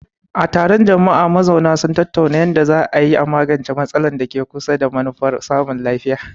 A taron jama'a, mazauna sun tattauna yadda za a iya magance matsalar da ke kusa, da manufar samun laifi.